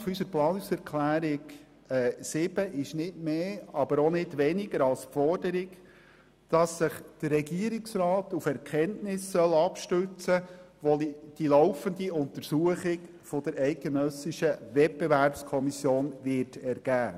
Gegenstand unserer Planungserklärung 7 ist die Forderung, dass sich der Regierungsrat auf Erkenntnisse abstützen soll, die sich aus der laufenden Untersuchung der Eidgenössischen Wettbewerbskommission (WEKO) ergeben werden.